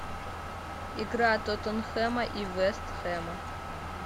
игра тоттенхэма и вест хэма